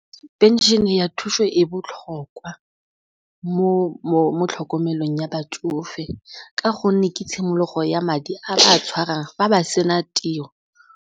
Pension-e ya thuso e botlhokwa mo tlhokomelong ya batsofe ka gonne ke tshimologo ya madi a tshwarang fa ba sena tiro.